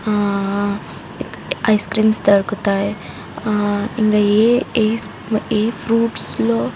ఆ ice creams దొరుకుతాయి ఆ ఇంకా ఏ ఫ్రూయిట్స్ లో --